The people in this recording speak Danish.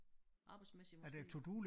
Arbejdsmæssigt måske